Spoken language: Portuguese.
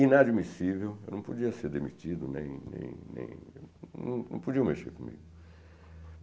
inadmissível, eu não podia ser demitido, nem nem nem... não não podiam mexer comigo.